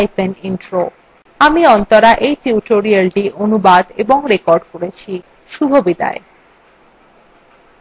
আমি অন্তরা এই tutorialটি অনুবাদ এবং রেকর্ড করেছি